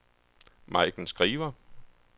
Maiken Skriver